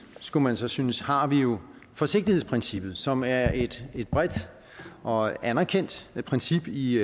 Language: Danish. skulle man så synes har vi jo forsigtighedsprincippet som er et bredt og anerkendt princip i i